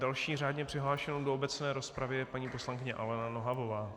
Další řádně přihlášenou do obecné rozpravy je paní poslankyně Alena Nohavová.